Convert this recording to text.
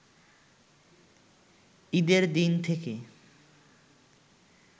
ঈদের দিন থেকে